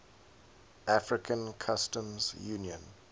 african customs union